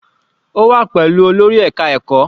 Ó wà pẹ̀lú olórí ẹka ẹ̀kọ́.